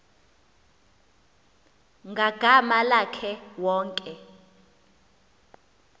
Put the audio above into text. ngagama lakhe wonke